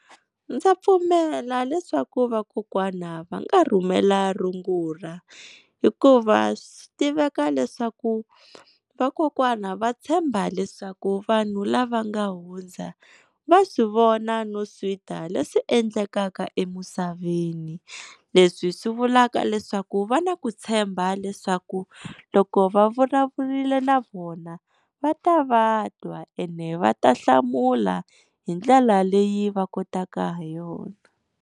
Ndza pfumela leswaku vakokwana va nga rhumela rungula, hikuva swa tiveka leswaku vakokwana va tshemba leswaku vanhu lava nga hundza va swi vona no swi twa leswi endlekaka emisaveni. Leswi swi vulaka leswaku va na ku tshemba leswaku loko va vulavurile na vona va ta va twa ene va ta hlamula hi ndlela leyi va kotaka ha yona.